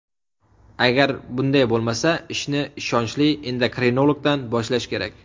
Agar bunday bo‘lmasa, ishni ishonchli endokrinologdan boshlash kerak.